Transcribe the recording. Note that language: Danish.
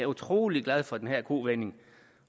utrolig glad for den her kovending